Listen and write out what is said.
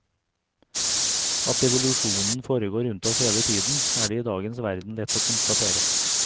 At evolusjonen foregår rundt oss hele tiden, er det i dagens verden lett å konstatere.